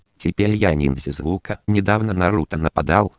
теперь я ниндзя звука недавно наруто на пк